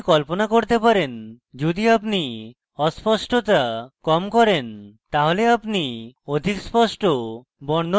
আপনি কল্পনা করতে পারেন যদি আপনি অস্পষ্টতা কম করেন তাহলে আপনি অধিক স্পষ্ট বর্ণন পান